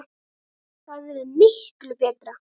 Það yrði miklu BETRA!